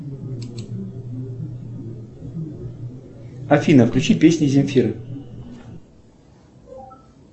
афина включи песни земфиры